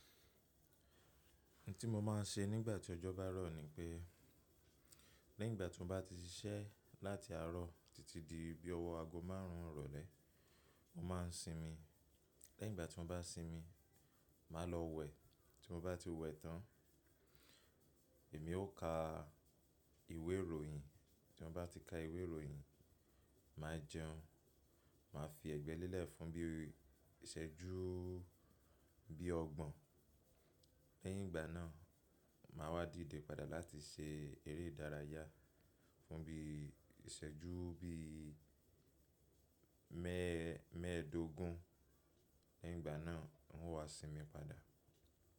N tí mo máa ń ṣe nígbà tí ọjọ́ bá rọ̀ ni pé, lẹ́yìn ìgbà tí mo bá ti ṣiṣẹ́ láti àárọ̀ títí di bí ọwọ́ aago márùn ún rọlẹ̀, mọ́ máa ń sinmi. Lẹ́yìn ìgbà tí mọ́ bá sinmi, máa lọ wẹ̀. Tí mo bá ti wẹ̀ tán, èmi ó ka ìwé ìròyìn. Tí mo bá ti ka ìwé ìròyìn, máa jẹun. Máa fi ẹ̀gbẹ́ lélẹ̀ fún bí ìṣẹ́jú bí ọgbọ̀n. Lẹ́yìn ìgbà náà, màá wá dìde padà láti ṣe eré ìdárayá fún bí ìṣẹ́jú bí i mẹ́ẹ̀ẹ́dógún. Lẹ́yìn ìgbà náà, wọ́n wá sinmi padà.